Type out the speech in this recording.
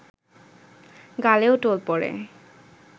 গালেও টোল পড়ে